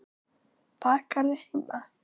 Bakarðu heima?